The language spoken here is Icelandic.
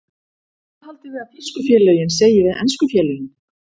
Hvað haldiði að þýsku félögin segi við ensku félögin?